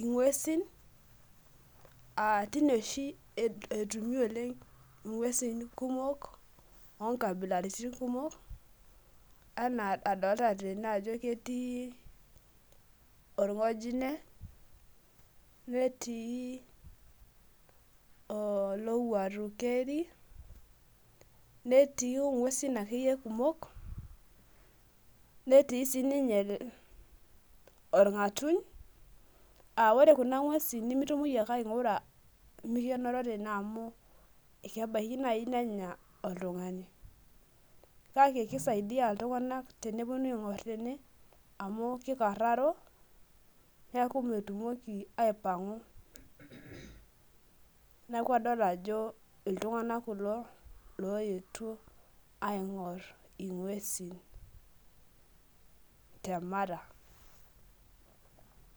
ing'uesin teine oshi etumi oleng ng'uesin kumok, oo nkabilaritin kumok, anaa adoolta tene ajo ketii olng'ojine, netii olowuaru keri. netii nguesin akeyie kumok. netii sii ninye olng'atuny. ore kuna ng'uesin nimitumoki ake aing'ura mikinoro tene amu ebaiaki naaji nenya oltungani. kake kisaidia iltunganak tenepuonu ing'or tene, amu kikararo neeku metumoki aipang'u. neeku kadol ajo iltunganak kulo looyetuo, aing'or ing'uesin te mara.